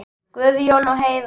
Guðjón og Heiða.